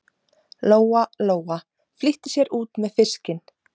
Lóa Lóa flýtti sér út með fiskinn.